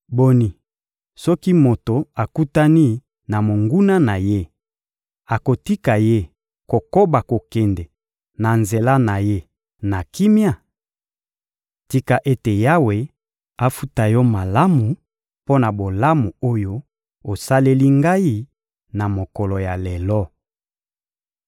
Boni, soki moto akutani na monguna na ye, akotika ye kokoba kokende na nzela na ye na kimia? Tika ete Yawe afuta yo malamu mpo na bolamu oyo osaleli ngai na mokolo ya lelo.